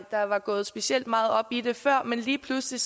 der var gået specielt meget op i det før men lige pludselig